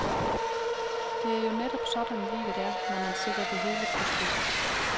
Det er jo netop sådan livet er, når man sætter det helt på spidsen.